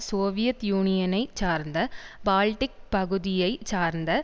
Soviet யூனியனை சார்ந்த Baltic பகுதியை சார்ந்த